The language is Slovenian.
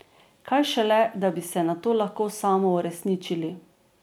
Kaj šele, da bi se nato lahko samouresničili.